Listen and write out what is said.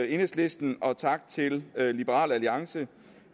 enhedslisten og tak til liberal alliance